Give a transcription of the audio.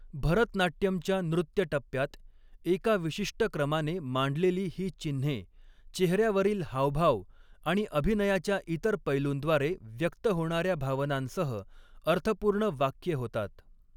भरतनाट्यमच्या नृत्य टप्प्यात, एका विशिष्ट क्रमाने मांडलेली ही चिन्हे, चेहऱ्यावरील हावभाव आणि अभिनयाच्या इतर पैलूंद्वारे व्यक्त होणाऱ्या भावनांसह, अर्थपूर्ण वाक्ये होतात.